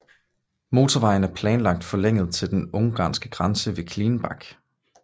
Motorvejen er planlagt forlænget til den ungarske grænse ved Klingenbach